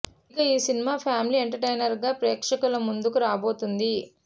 ఇక ఈ cinema family entertainer గా ప్రేక్షకుల ముందుకు రాబోతుంది